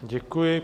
Děkuji.